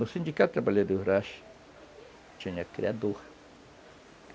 No Sindicato dos Trabalhadores Rurais, tinha criador.